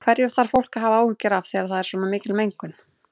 Hverju þarf fólk að hafa áhyggjur af þegar það er svona mikil mengun?